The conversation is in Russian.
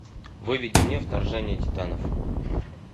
выведи мне вторжение титанов